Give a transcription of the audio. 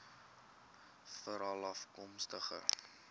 veralafkomstig